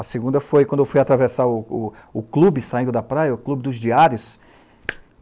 A segunda foi quando eu fui atravessar o clube, saindo da praia, o clube dos diários.